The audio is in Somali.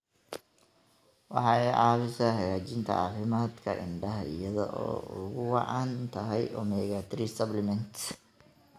Waxay caawisaa hagaajinta caafimaadka indhaha iyada oo ay ugu wacan tahay omega-3 supplements.